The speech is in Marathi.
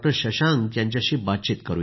शशांक यांच्याशी बातचीत करू या